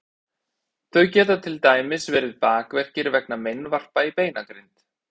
þau geta til dæmis verið bakverkir vegna meinvarpa í beinagrind